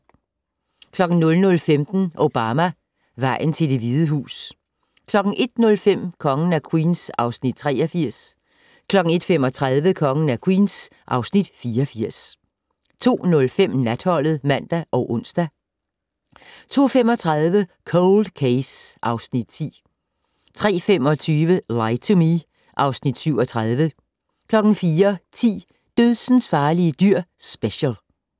00:15: Obama - vejen til Det Hvide Hus 01:05: Kongen af Queens (Afs. 83) 01:35: Kongen af Queens (Afs. 84) 02:05: Natholdet (man og ons) 02:35: Cold Case (Afs. 10) 03:25: Lie to Me (Afs. 37) 04:10: Dødsensfarlige dyr - special